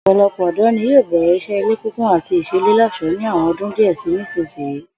Ò̩pò̩lo̩pò̩ ò̩dó̩ ni yóò bè̩rè̩ is̩é̩ ilé kíkùn àti ìs̩eléló̩s̩ò̩ó̩ ní àwo̩n o̩dún díè̩ sí ìsinyìí